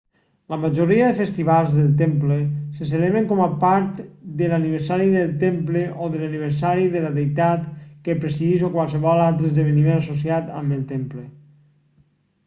la majoria dels festivals del temple se celebren com a part de l'aniversari del temple o de l'aniversari de la deïtat que presideix o qualsevol altre esdeveniment associat amb el temple